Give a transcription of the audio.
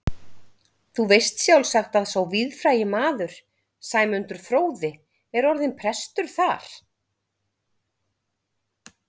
Þú veist sjálfsagt að sá víðfrægi maður, Sæmundur fróði, er orðinn prestur þar.